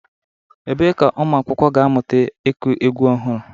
Ebee ka ụmụ akwụkwọ ga-amụta ịkụ egwu ọhụrụ?